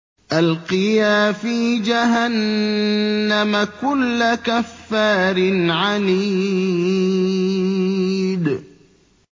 أَلْقِيَا فِي جَهَنَّمَ كُلَّ كَفَّارٍ عَنِيدٍ